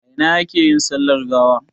A ina ne ake yin sallar gawa?